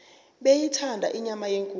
beyithanda inyama yenkukhu